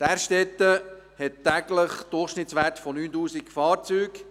Därstetten hat täglich einen Durchschnittswert von 9000 Fahrzeugen.